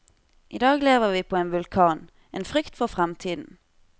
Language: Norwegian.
I dag lever vi på en vulkan, en frykt for fremtiden.